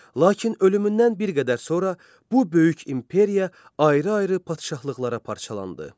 Lakin ölümündən bir qədər sonra bu böyük imperiya ayrı-ayrı padşahlıqlara parçalandı.